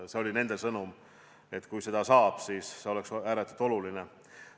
See oli nende sõnum, et kui seda saaks, siis see oleks ääretult oluline.